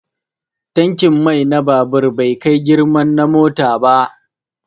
Tankin mai na babur bai kai girman na mota ba